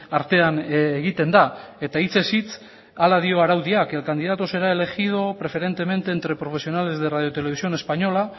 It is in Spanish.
artean egiten da eta hitzez hitz hala dio araudiak el candidato será elegido preferentemente entre profesionales de radio televisión española